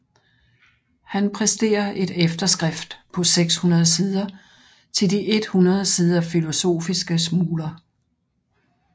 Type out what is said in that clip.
Han præsterer et efterskrift på 600 sider til de 100 sider Philosophiske Smuler